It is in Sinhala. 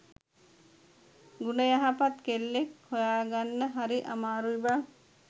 ගුණයහපත් කෙල්ලෙක් හොයාගන්න හරි අමාරුයි බං